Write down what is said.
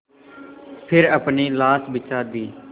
फिर अपनी लाश बिछा दी